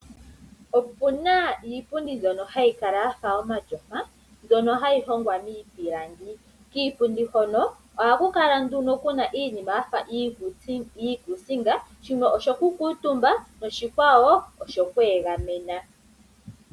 Opu na iipundi mbyono hayi kala ya fa omatyofa, mbyono hayi hongwa miipilangi. Kiipundi hono ohaku kala nduno ku na iinima ya fa iikuusinga, shimwe osho ku kuutumba noshikwawo oshokweegamena.